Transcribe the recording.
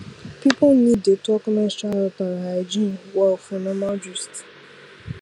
people need dey talk menstrual health and hygiene well for normal gist